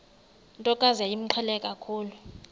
ntokazi yayimqhele kakhulu